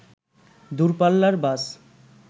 দূরপাল্লার বাস